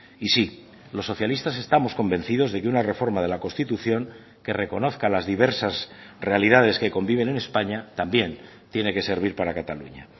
y sí los socialistas estamos convencidos de que una reforma de la constitución que reconozca las diversas realidades que conviven en españa también tiene que servir para cataluña